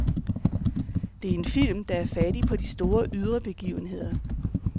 Det er en film, der er fattig på de store ydre begivenheder.